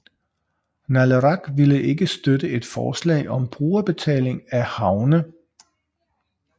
Naleraq ville ikke støtte et forslag om brugerbetaling af havne